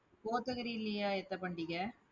கோத்தகிரிலயா, எத்த பண்டிகை?